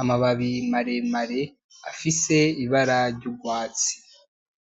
amababi maremare afise ibara ryurwatsi